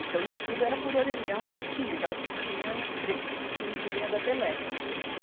Então, isso tudo era por orelhão e fichinha, aquela fichinha pre, cinzinha da Telespe.